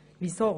Weshalb dies?